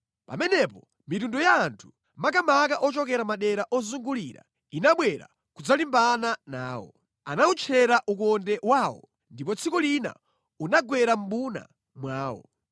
Pamenepo mitundu ya anthu, makamaka ochokera madera ozungulira, inabwera kudzalimbana nawo. Anawutchera ukonde wawo, ndipo tsiku lina unagwera mʼmbuna mwawo.